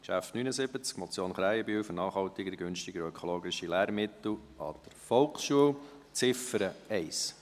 Traktandum 79, Motion Krähenbühl, «Für nachhaltigere, günstigere und ökologischere Lehrmittel an der Volksschule», Ziffer 1